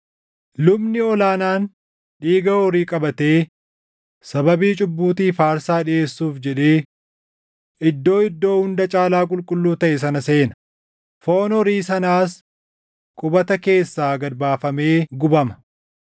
Lubni ol aanaan dhiiga horii qabatee sababii cubbuutiif aarsaa dhiʼeessuuf jedhee Iddoo Iddoo Hunda Caalaa Qulqulluu taʼe sana seena; foon horii sanaas qubata keessaa gad baafamee gubama.